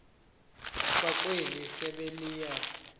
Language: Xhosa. kwakweli sebe liye